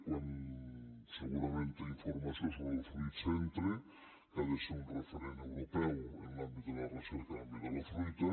quan segurament té informació sobre el fruitcentre que ha de ser un referent europeu en l’àmbit de la recerca en l’àmbit de la fruita